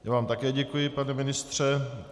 Já vám také děkuji, pane ministře.